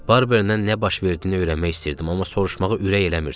Barbernən nə baş verdiyini öyrənmək istəyirdim, amma soruşmağa ürək eləmirdim.